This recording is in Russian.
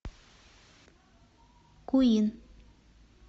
куин